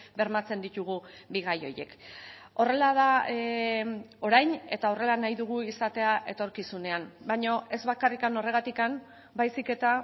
bermatzen ditugu bi gai horiek horrela da orain eta horrela nahi dugu izatea etorkizunean baina ez bakarrik horregatik baizik eta